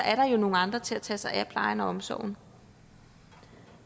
er der nogle andre til at tage sig af plejen og omsorgen